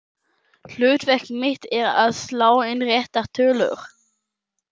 Hlutverk mitt er að slá inn réttar tölur.